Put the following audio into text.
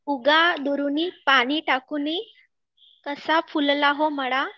उगा दुरुनी पाणी टाकूनी कसा फुलला हो मळा